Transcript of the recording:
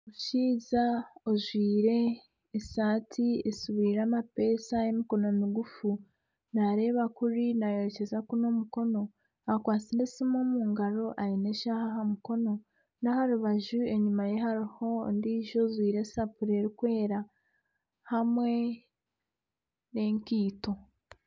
Omushaija ajwaire esaati esibire amapesha y'emikono migufu nareeba kuri nayerekyeza kunu omukono. Akwatsire esimu omu ngaro, aine eshaha aha mukono n'aharibaju enyima ye hariyo ondijo ajwaire esapuri erikwera hamwe n'enkeito.